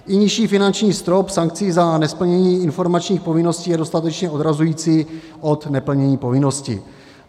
I nižší finanční strop sankcí za nesplnění informačních povinností je dostatečně odrazující od neplnění povinností.